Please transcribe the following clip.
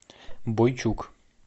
бойчук